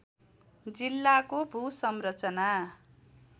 जिल्लाको भूसंरचना